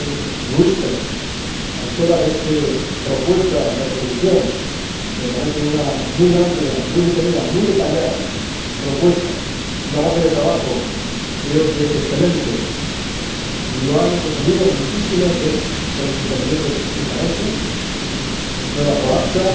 Oomen Ruijten la autora de esta propuesta de resolución, que me parece una muy amplia, muy detenida y muy detallada propuesta, una base de trabajo creo que excelente lo han defendido muchísimos de los intervinientes esta noche las señoras Corazza,